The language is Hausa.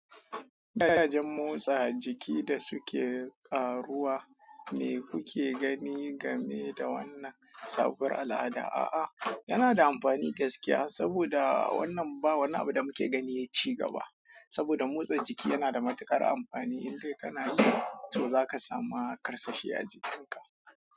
Dayajin motsa jiki da suke ƙaruwa me kuke gani game da wannan sabuwar al'ada? A'a, yana da amfani da gaskiya saboda wannan ba wani abu da muke gani sai ci gaba. Saboda motsa jiki yana da matuƙar amfani, in dai kana yi to za ka samu ƙarsashi a jikinka.